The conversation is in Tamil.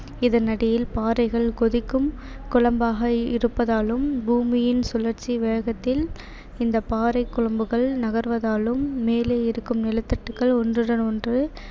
இதன் அடியில் பாறைகள் கொதிக்கும் குழம்பாக இருப்பதாலும் பூமியின் சுழற்சி வேகத்தில் இந்தப் பாறை குழம்புகள் நகர்வதாலும் மேலே இருக்கும் நிலத்தட்டுகள் ஒன்றுடன் ஒன்று